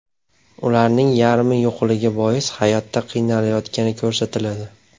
Ularning yarmi yo‘qligi bois hayotda qiynalayotgani ko‘rsatiladi.